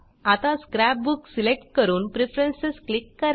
आता scrap book select करून preference click करा